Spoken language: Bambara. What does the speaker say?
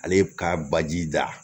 Ale ka baji da